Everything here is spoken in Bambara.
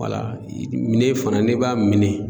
minɛn fana n'i b'a minɛ.